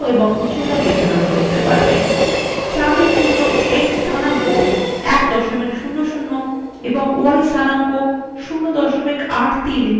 chart এর জন্য X স্থানাঙ্ক 100 এবং ওয়াই স্থানাঙ্ক 083 নির্ধারণ করা যাক